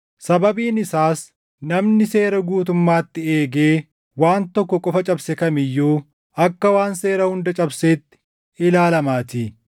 Sababiin isaas namni seera guutummaatti eegee waan tokko qofa cabse kam iyyuu akka waan seera hunda cabseetti ilaalamaatii.